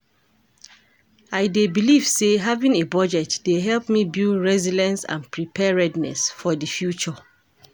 I dey believe say having a budget dey help me build resilience and preparedness for di future.